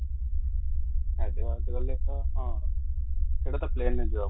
ହାୟଦରାବାଦ ଗଲେ ଟା ହଁ ସେଇଟା ତ ଫ୍ଲାଇଟ ରେ ଯିବା କୁ ପଡିବ |